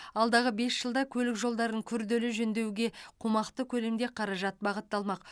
алдағы бес жылда көлік жолдарын күрделі жөндеуге қомақты көлемде қаражат бағытталмақ